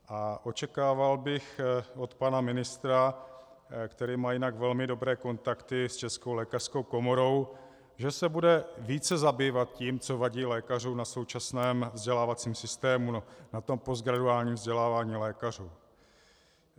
A očekával bych od pana ministra, který má jinak velmi dobré kontakty s Českou lékařskou komorou, že se bude více zabývat tím, co vadí lékařům na současném vzdělávacím systému, na tom postgraduálním vzdělávání lékařů.